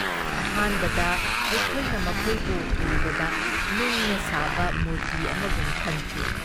ꯑꯍꯥꯟꯕꯗ ꯑꯩꯈꯣꯏꯅ ꯃꯈꯣꯏꯕꯨ ꯎꯕꯗ ꯅꯨꯡꯅ ꯁꯥꯕ ꯃꯨꯔꯇꯤ ꯑꯃꯒꯨꯝ ꯈꯟꯈꯤ ꯫